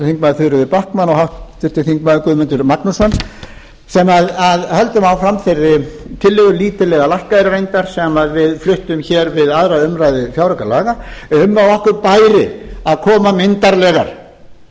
þingmaður þuríður backman og háttvirtur þingmaður guðmundur magnússon sem höldum áfram þeirri tillögu lítið lækkaðri reyndar sem við fluttum við aðra umræðu fjáraukalaga um að okkur bæri að koma myndarlegar